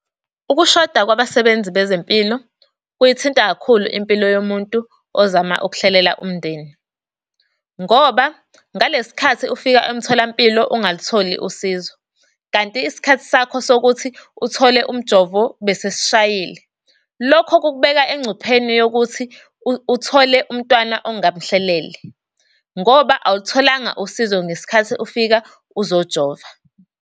Ukushoda kwabasebenzi bezempilo, kuyithinta kakhulu impilo yomuntu ozama ukuhlelela umndeni. Ngoba ngalesi sikhathi ufika emtholampilo ungalutholi usizo kanti isikhathi sakho sokuthi uthole umjovo besesishayile, lokho kukubeka engcupheni yokuthi uthole umntwana ongamhlelele, ngoba awulutholanga usizo ngesikhathi ufika uzojova.